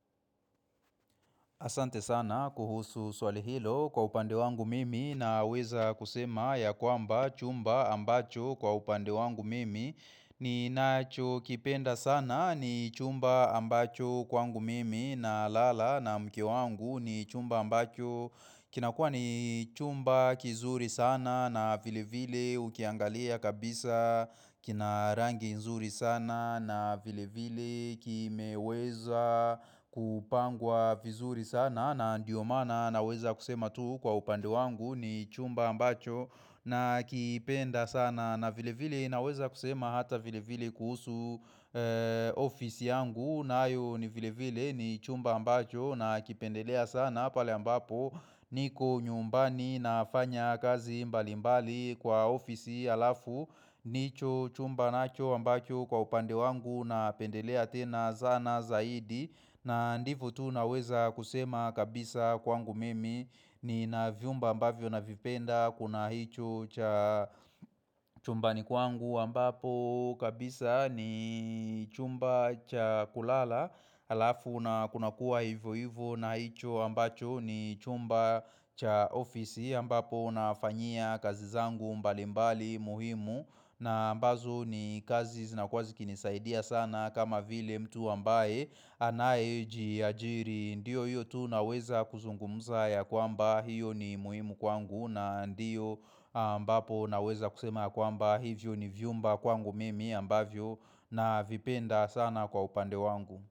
Asante sana kuhusu swali hilo kwa upande wangu mimi na weza kusema ya kwamba chumba ambacho kwa upande wangu mimi ni nacho kipenda sana ni chumba ambacho kwangu mimi na lala na mke wangu ni chumba ambacho Kinakua ni chumba kizuri sana na vile vile ukiangalia kabisa kina rangi nzuri sana na vile vile kimeweza kupangwa vizuri sana na ndiyo maana na weza kusema tu kwa upande wangu ni chumba ambacho nakipenda sana na vile vile na weza kusema hata vile vile kuhusu ofisi yangu nayo ni vile vile ni chumba ambacho na kipendelea sana pale ambapo niko nyumbani na fanya kazi mbali mbali kwa ofisi alafu ndicho chumba nacho ambacho kwa upande wangu na pendelea tena zana zaidi na ndivo tu naweza kusema kabisa kwangu mimi nina viumba ambavyo na vipenda Kuna hicho cha chumbani kwangu ambapo kabisa ni chumba cha kulala Alafu na kuna kuwa hivyo hivyo na hicho ambacho ni chumba cha ofisi ambapo na fanyia kazi zangu mbali mbali muhimu na mbazo ni kazi zinakua zikinisaidia sana kama vile mtu ambaye anae jijiri Ndiyo hiyo tu naweza kuzungumza ya kwamba hiyo ni muhimu kwangu na ndiyo ambapo naweza kusema kwamba hivyo ni vyumba kwangu mimi ambavyo na vipenda sana kwa upande wangu.